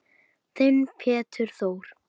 Þinn Pétur Þór.